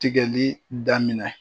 Tigɛli damina